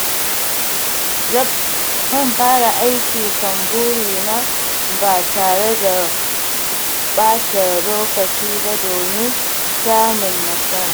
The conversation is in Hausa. Zan fara aiki kan burina ba tare da ɓata lokaci ba domin samun nasara.